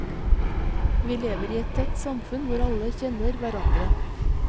Vi lever i et tett samfunn hvor alle kjenner hverandre.